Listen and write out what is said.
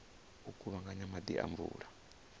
u kuvhanganya maḓi a mvula